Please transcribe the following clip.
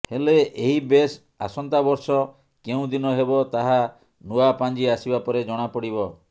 ହେଲେ ଏହି ବେଶ ଆସନ୍ତାବର୍ଷ କେଉଁ ଦିନ ହେବ ତାହା ନୂଆ ପାଞ୍ଜି ଆସିବା ପରେ ଜଣାପଡିବ